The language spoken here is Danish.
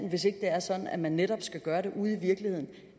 er sådan at man netop skal gøre det ude i virkeligheden